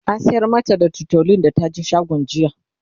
an sayar mata da tutolin da taje shagon jiya